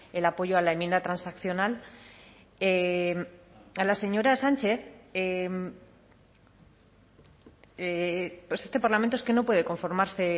el apoyo a la enmienda transaccional a la señora sánchez pues este parlamento es que no puede conformarse